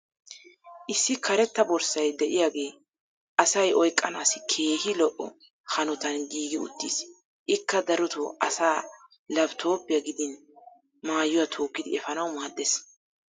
issi karetta borssay diyaagee asay oyqqanaassi keehi lo"o hanottan giigi uttiis. ikka darotoo asaa laapitooppiya giddin maayuwaa tookkidi efaanawu maadees.